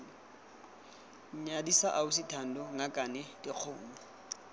nyadisa ausi thando ngakane dikgomo